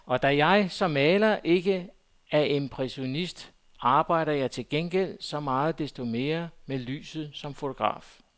Og da jeg som maler ikke er impressionist, arbejder jeg til gengæld så meget desto mere med lyset som fotograf.